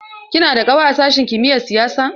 Kina da ƙawa a sashin kimiyar siyasa?